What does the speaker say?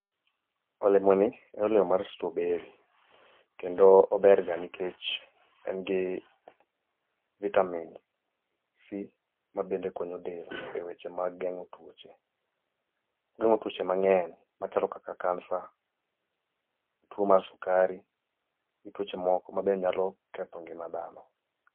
Olemoni en olemo mar strawberry. Kendo ober ga nikech en gi vitamin C mabende konyo del e weche mag geng'o twoche. Geng'o twoche mang'eny machalo kaka cancer, tuo mar sukari gi tuoche moko mabe nyalo ketho ngima dhano.